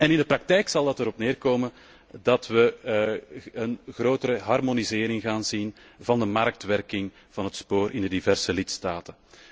In de praktijk zal dat erop neer komen dat we een grotere harmonisering gaan zien van de marktwerking van het spoorwegvervoer in de diverse lidstaten.